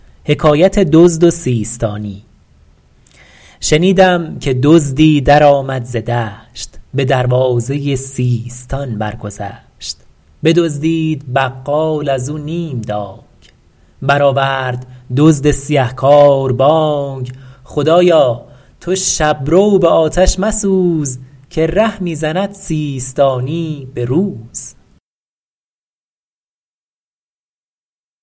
شنیدم که دزدی درآمد ز دشت به دروازه سیستان برگذشت بدزدید بقال از او نیم دانگ برآورد دزد سیه کار بانگ خدایا تو شب رو به آتش مسوز که ره می زند سیستانی به روز